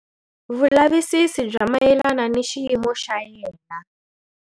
Vulavisisi bya mayelana ni xiyimo xa yena.